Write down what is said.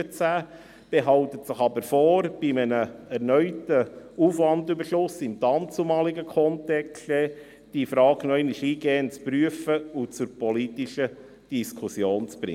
Sie behält sich aber vor, diese Frage bei einem erneuten Aufwandüberschuss im dannzumaligen Kontext noch einmal eingehend zu prüfen und zur politischen Diskussion zu bringen.